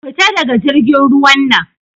Fita daga jirgin ruwan nan!